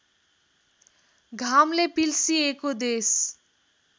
घामले पिल्सिएको देश